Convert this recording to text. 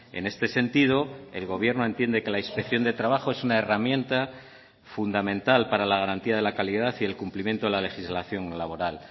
en este sentido el gobierno entiende que la inspección de trabajo es una herramienta fundamental para la garantía de la calidad y el cumplimiento de la legislación laboral